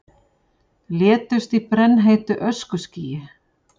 Létust í brennheitu öskuskýi